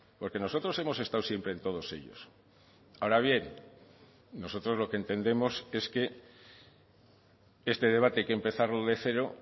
porque nosotros hemos estado siempre en todos ellos ahora bien nosotros lo que entendemos es que este debate hay que empezarlo de cero